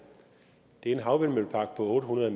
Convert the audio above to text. en havvindmøllepark på otte hundrede